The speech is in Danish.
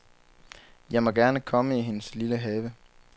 Jeg må gerne komme i hendes lille have.